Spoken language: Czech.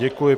Děkuji.